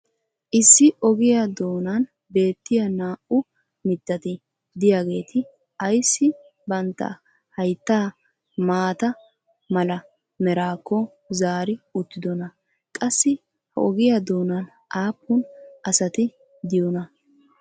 issi ogiyaa doonan beettiya naa'u mittati diyaageeti ayssi bantta hayttaa maata mala meraakko zaari uttidonaa? qassi ha ogiya doonan aappun asati diyoonaa?